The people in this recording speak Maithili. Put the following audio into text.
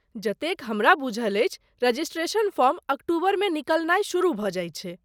जतेक हमरा बुझल अछि, रजिस्ट्रेशन फॉर्म अक्टूबरमे निकलनाय शुरू भऽ जाइत छै।